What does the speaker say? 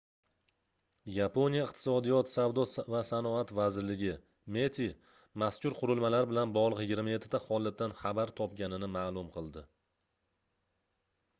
yaponiya iqtisodiyot savdo va sanoat vazirligi meti mazkur qurilmalar bilan bog'liq 27 ta holatdan xabar topganini ma'lum qildi